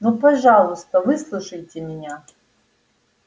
ну пожалуйста выслушайте меня